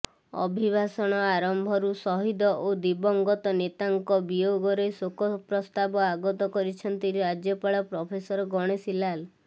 ଅଭିଭାଷଣ ଆରମ୍ଭରୁ ସହିଦ ଓ ଦିବଂଗତ ନେତାଙ୍କ ବିୟୋଗରେ ଶୋକପ୍ରସ୍ତାବ ଆଗତ କରିଛନ୍ତି ରାଜ୍ୟପାଳ ପ୍ରଫେସର ଗଣେଶୀ ଲାଲ୍